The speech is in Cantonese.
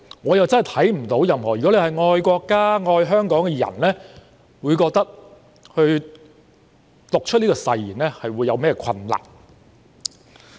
我真的看不到任何一個愛國家、愛香港的人在讀出這些誓言時會有何困難。